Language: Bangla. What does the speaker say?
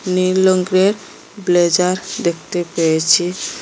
নীল রঙের ব্লেজার দেখতে পেয়েছি।